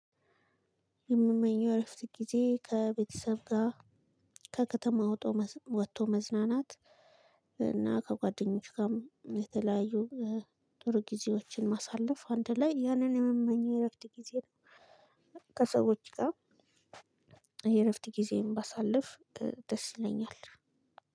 የምመኘው እረፍት ጊዜ ከቤተሰብ ጋ ከከተማ ወጦ ወቶ መዝናናት እና ከጓደኞች ጋም የተለያዩ ጥሩ ጊዜዎችን ማሳለፍ አንድ ላይ ያንን የምመኘው የእረፍት ጊዜ ከሰዎች ጋር የእረፍት ጊዜየን ባሳልፍ ድ ደስ ይለኛል።